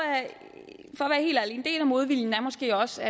at en del af modviljen måske også